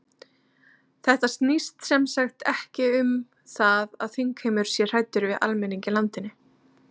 Þetta snýst sem sagt ekki um það að þingheimur sé hræddur við almenning í landinu?